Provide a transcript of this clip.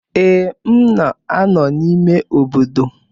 Ee, m na-anọ n'ime obodo